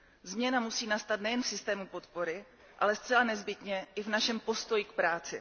Změna musí nastat nejen v systému podpory, ale zcela nezbytně i v našem postoji k práci.